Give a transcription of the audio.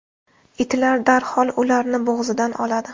Itlar darhol ularni bo‘g‘zidan oladi.